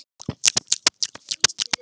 Stína hló hátt.